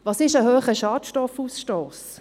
Was ist ein hoher Schadstoffausstoss?